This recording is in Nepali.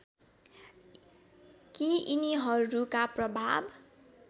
कि यिनीहरूका प्रभाव